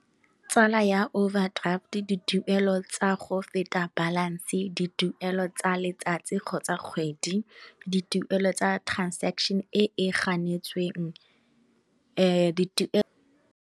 Tsala ya overdraft, di tuelo tsa go feta balance, di tuelo tsa letsatsi kgotsa kgwedi, di tuelo tsa transaction e e ganetweng.